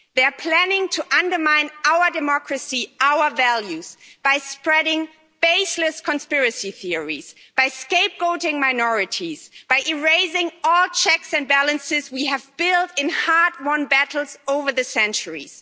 They are planning to undermine our democracy, our values, by spreading baseless conspiracy theories, by scapegoating minorities, by erasing all checks and balances we have built in hard won battles over the centuries.